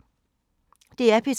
DR P3